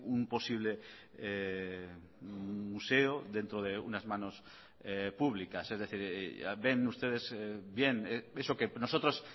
un posible museo dentro de unas manos públicas es decir ven ustedes bien eso que nosotros